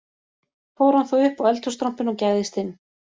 Fór hann þá upp á eldhússtrompinn og gægðist inn